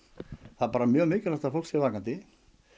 það er bara mjög mikilvægt að fólk sé vakandi